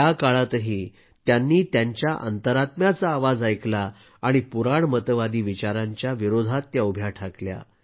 त्या काळातही त्यांनी त्यांच्या अंतरात्म्याचा आवाज ऐकला आणि पुराणमतवादी विचारांच्या विरोधात उभ्या ठाकल्या